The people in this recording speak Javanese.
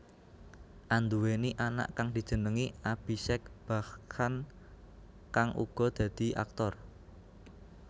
Anduwèni anak kang dijenengi Abhishek Bachchan kang uga dadi aktor